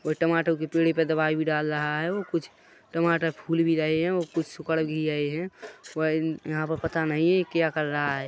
टमाटर की पेड़ पर दवाई बी डाल रहा है और कुछ टमाटर फूल भी रहे हैं और कुछ सुकड़ भी रहे हैं यहाँ पर पता नही क्या कर रहा है।